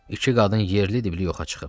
İki qadın yerli dibli yoxa çıxıb.